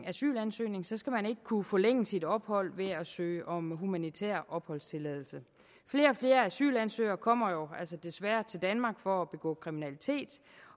asylansøgning skal man ikke kunne forlænge sit ophold ved at søge om humanitær opholdstilladelse flere og flere asylansøgere kommer jo altså desværre til danmark for at begå kriminalitet